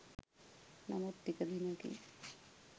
නමුත් ටික දිනකින්